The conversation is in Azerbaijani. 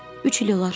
Üç il olar.